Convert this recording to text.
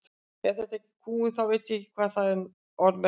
Ef þetta er ekki kúgun þá veit ég ekki hvað það orð merkir.